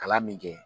Kalan min kɛ